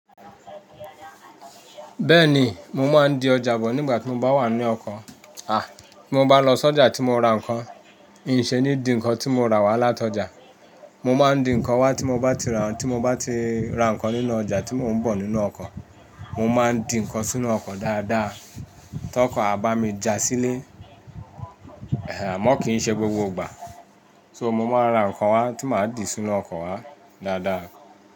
Bẹ́ẹ̀ni, mo máa ń di ọjà bọ̀ nígbà tí mo bá wà ní ọkọ̀. À, tí mo bá lọ sí ọjà tí mo ra nǹkan, ǹṣe ní di nǹkan tí mo ra wá látọjà. Mo máa ń di nǹkan wá tí mo bá ti ra tí mo bá ti ra nǹkan nínú ọjà tí mò ń bọ̀ nínú ọkọ̀. Mo máa ń di nǹkan sínú ọkọ̀ dáadáa. Tí ọkọ̀ a bá mi ja sílé, ẹ̀hẹ̀ àmọ́ kì í ṣe gbogbo ìgbà. So mo máa ń ra nǹkan wá tí màá di sínú ọkọ̀ wá dáadáa.